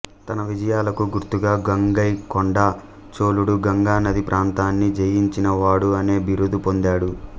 తన విజయాలకు గుర్తుగా గంగైకొండ చోళుడు గంగానది ప్రాంతాన్ని జయించిన వాడు అనే బిరుదు పొందాడు